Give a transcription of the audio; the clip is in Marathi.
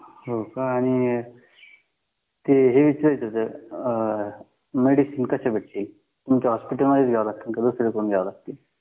हो का आणि ते विचारायचं होतं मेडिसिन कशा भेटतील तुमच्या हॉस्पिटलमध्येच भेटतील का बाहेरून घ्यावे लागतील